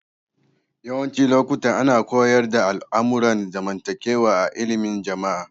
Yawancin lokuta ana koyars da al'amuran zamantakewa a illimin Jama'a.